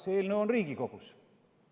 See eelnõu on Riigikogus.